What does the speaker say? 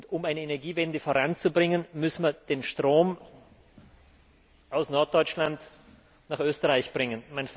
Um eine Energiewende voranzubringen, müssen wir den Strom aus Norddeutschland nach Österreich bringen.